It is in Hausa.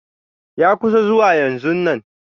Ya kusa zuwa yanzonnan.